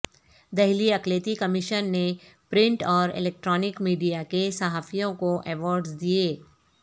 دہلی اقلیتی کمیشن نے پرنٹ اور الیکٹرانک میڈیا کے صحافیوں کو ایوارڈز دئے